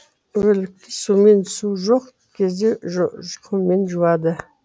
өлікті сумен су жоқ кезде құммен жуады